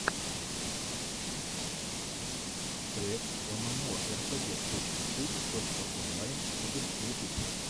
трек эмэмоэрпэгэ точка су точка онлайн игр ютуб